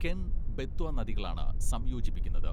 കെൻ, ബെത്വ നദികളാണ് സംയോജിപ്പിക്കുന്നത്.